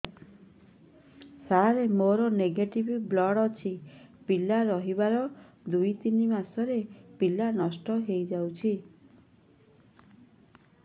ସାର ମୋର negative blood ଅଛି ପିଲା ରହିବାର ଦୁଇ ତିନି ମାସ ପରେ ପିଲା ନଷ୍ଟ ହେଇ ଯାଉଛି